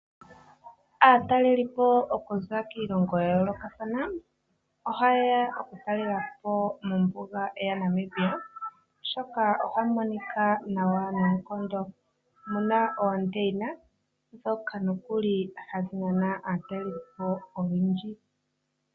Aatalelipo okuza kiilongo ya yoolokathana, oha yeya oku talelapo mombuga ya Namibia, oshoka ohamu monika nawa noonkondo, muna oondeyina ndhoka nokuli hadhi nana aatalelipo oyendji.